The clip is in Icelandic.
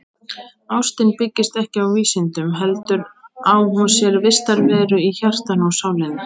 Ástin byggist ekki á vísindum heldur á hún sér vistarveru í hjartanu og sálinni.